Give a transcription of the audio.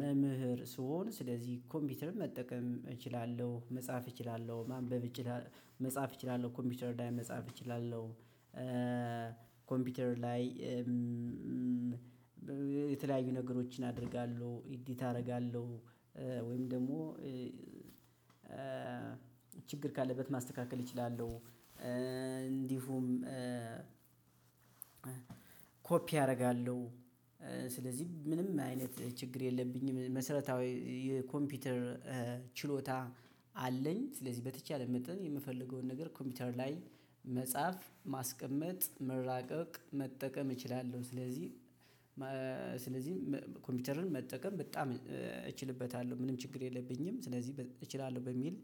መምህር ስሆን ስለዚህ ኮምፒውተር መጠቀም እችላለሁ መጻፍ እችላለሁ ማንበብ እችላለሁ መጻፍ እችላለሁ ኮምፒውተር ላይ መጻፍ እችላለሁ። ኮምፒውተር ላይ። የተለያዩ ነገሮችን አደርጋለሁ ኤዲት አደርጋለሁ። ወይም ደግሞ። ካለበት ማስተካከል እችላለሁ። እንዲሁም። ኮፒ አደርጋለሁ። ስለዚህ ምንም አይነት ችግር የለብኝም መሰረታዊ የኮምፒውተር ችሎታ አለኝ። ስለዚህ በተቻለኝ መጠን የምፈልገውን ነገር ኮምፒውተር ላይ መጻፍ ማስቀመጥ መራቀቅ መጠቀም እችላለሁ። ስለዚህ። ስለዚህ ኮምፒውተርን መጠቀም በጣም እችልበታለሁ ምንም ችግር የለብኝም። ስለዚህ እችላለሁ በሚል